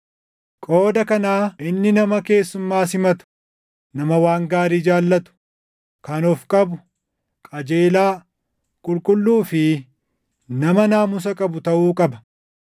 Qooda kanaa inni nama keessumaa simatu, nama waan gaarii jaallatu, kan of qabu, qajeelaa, qulqulluu fi nama naamusa qabu taʼuu qaba.